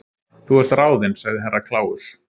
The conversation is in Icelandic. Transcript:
Þú ert ráðin sagði Herra Kláus.